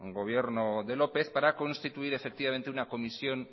gobierno de lópez para constituir una comisión